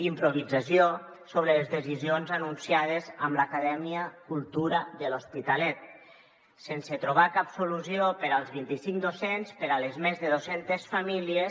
improvisació sobre les decisions anunciades per a l’acadèmia cultura de l’hospitalet sense trobar cap solució per als vint i cinc docents per a les més de dos centes famílies